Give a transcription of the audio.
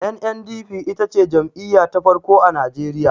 NNDP ita ce jam'iya ta farko a najeriya